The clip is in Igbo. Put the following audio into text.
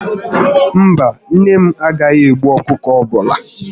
Mba, nne m agaghị egbu ọkụkọ ọbụla